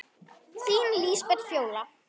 Þín Lísbet Fjóla.